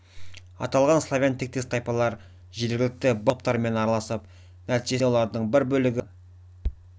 аталған славян тектес тайпалар жергілікті балт этникалық топтарымен араласып нәтижесінде олардың бір бөлігі славянданып ассимиляцияланған